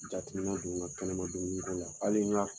Jatemina don n ka kɛnɛma dumuniko la hali